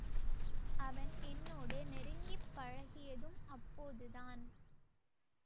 அவன் என்னோடு நெருங்கி பழகியதும் அப்போதுதான்